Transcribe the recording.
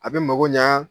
A bɛ mako ɲa